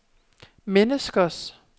menneskers